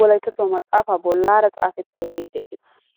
xufee bolaara de'ees.